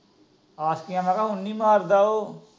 ਆਸ਼ਕੀਆਂ ਮੈ ਕਿਹਾ ਹੁਣ ਨਹੀਂ ਮਾਰਦਾ ਓ।